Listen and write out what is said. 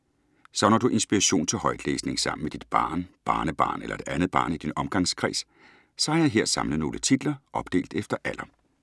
Savner du inspiration til højtlæsning sammen med dit barn, barnebarn eller et andet barn i din omgangskreds, så har jeg her samlet nogle titler, opdelt efter alder.